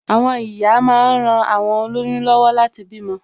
Àwọn ìyá máa ń ran awon oloyun lọwọ láti bímọ